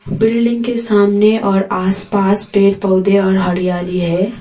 Building के सामने और आसपास पेड़ पौधे और हरियाली है।